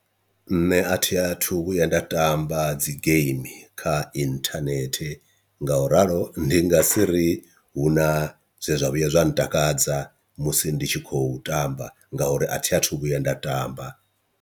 Nṋe a thi athu vhuya nda tamba dzi game kha inthanethe, nga u ralo ndi nga si ri hu na zwe zwa vhuya zwa ntakadza musi ndi tshi khou tamba nga uri athi athu vhuya nda tamba.